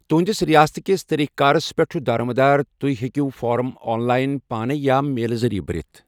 تُہنٛدِس ریاست کِس طٔریقہٕ کارس پٮ۪ٹھ چھُ دارمٔدار تُہہ ہیٚکِو فارم آن لائن، پانے یا میلہٕ ذریعہٕ بٔرِتھ ۔